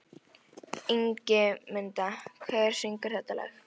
Ingimunda, hver syngur þetta lag?